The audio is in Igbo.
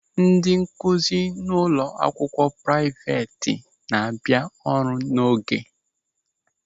Ndị nkụzi ụlọ akwụkwọ praịveti na-abịa ọrụ n'oge.